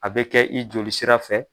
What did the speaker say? A bɛ kɛ i joli sira fɛ.